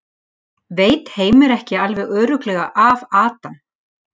Veit Heimir ekki alveg örugglega af Adam?